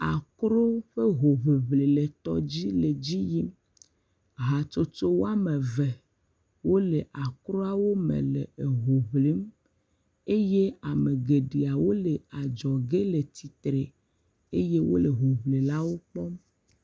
Akro ƒe hoŋiŋli le tɔdzi le dzi yim. Hatsotso woame eve wole akroawo me le eho ŋlim eye ame geɖeawo le adzɔge le tsitre eye wole hoŋlilawo kpɔm.